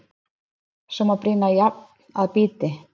Svo má brýna járn að bíti.